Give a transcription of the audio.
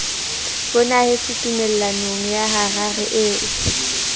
bonahetse tumellanong ya harare eo